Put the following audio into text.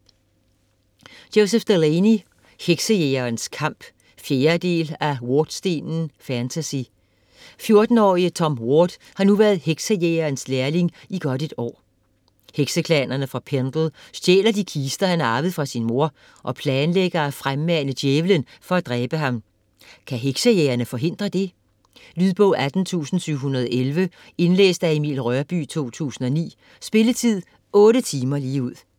Delaney, Joseph: Heksejægerens kamp 4. del af Wardstenen. Fantasy. 14-årige Tom Ward har nu været Heksejægerens lærling i godt et år. Hekseklanerne fra Pendle stjæler de kister, han har arvet fra sin mor, og planlægger at fremmane djævelen for at dræbe ham - kan heksejægerne forhindre det? Lydbog 18711 Indlæst af Emil Rørbye, 2009. Spilletid: 8 timer, 0 minutter.